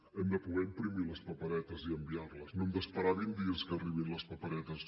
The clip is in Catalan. hem de poder imprimir les paperetes i enviar les no hem d’esperar vint dies que arribin les paperetes